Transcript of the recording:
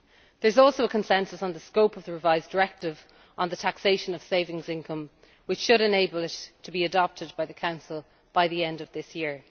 There is also consensus on the scope of the revised Directive on the taxation of savings income, which should enable it to be adopted by the Council by the end of this year.